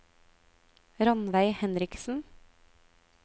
Ranveig Henriksen